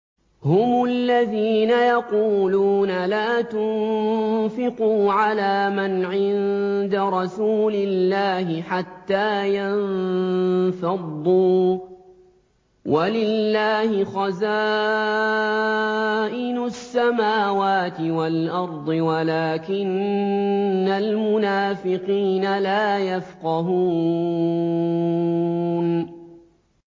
هُمُ الَّذِينَ يَقُولُونَ لَا تُنفِقُوا عَلَىٰ مَنْ عِندَ رَسُولِ اللَّهِ حَتَّىٰ يَنفَضُّوا ۗ وَلِلَّهِ خَزَائِنُ السَّمَاوَاتِ وَالْأَرْضِ وَلَٰكِنَّ الْمُنَافِقِينَ لَا يَفْقَهُونَ